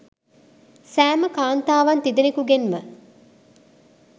සෑම කාන්තාවන් තිදෙනකුගෙන්ම